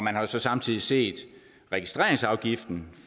har så samtidig set registreringsafgiften